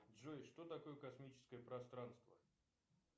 джой что такое космическое пространство